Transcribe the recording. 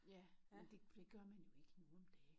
Ja men det det gør man jo ikke nu om dage